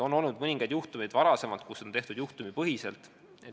On olnud mõningaid juhtumeid, kus kriisiabi on osutatud juhtumipõhiselt.